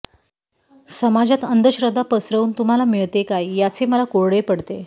समाजात अंधश्रद्धा पसरवुन तुम्हाला मिळते काय याचे मला कोडे पडते